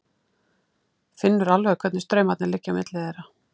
Finnur alveg hvernig straumarnir liggja á milli þeirra.